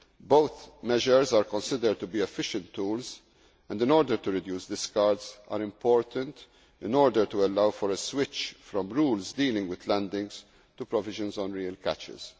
Both measures are considered to be efficient tools and, in order to reduce discards, are important in order to allow for a switch from rules dealing with landings to provisions on real catches.